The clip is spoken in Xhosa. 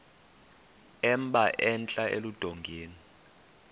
emba entla eludongeni